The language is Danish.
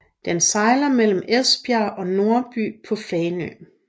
Den sejler mellem Esbjerg og Nordby på Fanø